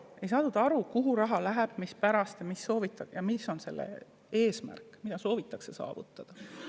Ei saadud aru, kuhu raha läheb, mispärast ja mis on eesmärk, mida soovitakse saavutada.